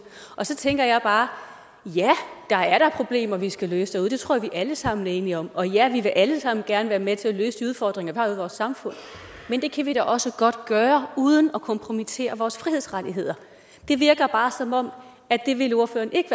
og så tænker jeg bare ja der er da problemer vi skal løse derude det tror jeg vi alle sammen er enige om og ja vi vil alle sammen gerne være med til at løse de udfordringer i vores samfund men det kan vi da også godt gøre uden at kompromittere vores frihedsrettigheder det virker bare som om ordføreren ikke